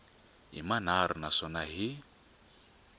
hi manharhu na swona hi